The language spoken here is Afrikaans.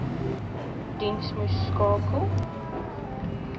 diens moes skakel